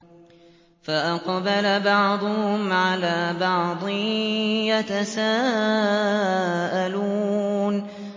فَأَقْبَلَ بَعْضُهُمْ عَلَىٰ بَعْضٍ يَتَسَاءَلُونَ